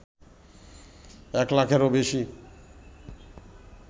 এক লাখেরও বেশি